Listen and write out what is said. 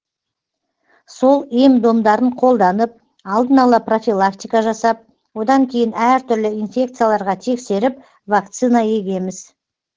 сол ем домдарын қолданып алдын ала профилактика жасап одан кейін әртүрлі инфекцияларға тексеріп вакцина егеміз